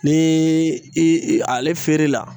Nii i i ale feere la